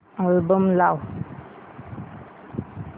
album लाव